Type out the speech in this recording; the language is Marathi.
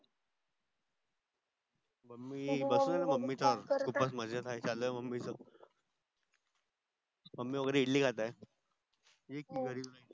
मम्मी बसलाय मम्मी च उपास चाललआहे मम्मीच मामी वगेरे इडली खात आहे